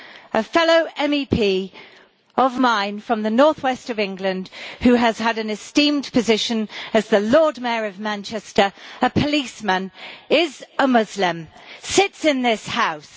A fellow MEP of mine from the northwest of England who has had an esteemed position as the Lord Mayor of Manchester, a policeman, is a Muslim, and sits in this House.